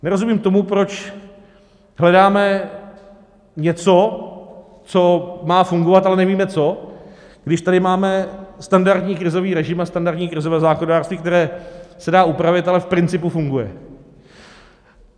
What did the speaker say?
Nerozumím tomu, proč hledáme něco, co má fungovat, ale nevíme co, když tady máme standardní krizový režim a standardní krizové zákonodárství, které se dá upravit, ale v principu funguje.